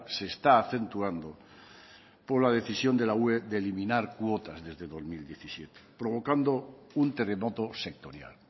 se está acentuando por la decisión de la ue de eliminar cuotas desde dos mil diecisiete provocando un terremoto sectorial